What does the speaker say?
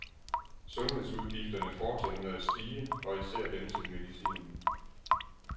Sundhedsudgifterne fortsætter med at stige og især dem til medicin.